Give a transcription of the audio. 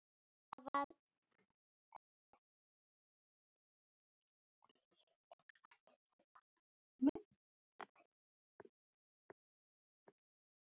Þetta fannst henni mjög erfitt.